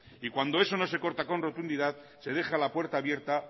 y cuando eso no se corta con rotundidad se deja la puerta abierta